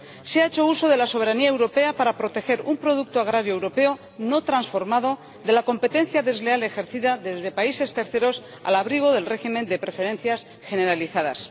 Se ha hecho uso de la soberanía europea para proteger un producto agrario europeo no transformado de la competencia desleal ejercida desde países terceros al abrigo del régimen de preferencias generalizadas.